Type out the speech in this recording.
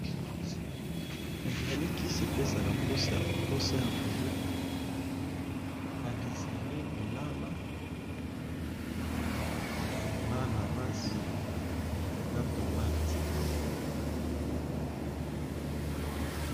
Ezale kisi epesaka mposa ya colia badesene lilala na nanasi na tomate.